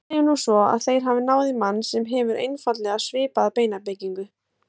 Segjum nú svo að þeir hafi náð í mann sem hefur einfaldlega svipaða beinabyggingu.